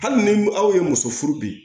Hali ni aw ye muso furu bi